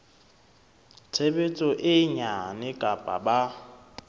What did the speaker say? tshebetso e nyane kapa ba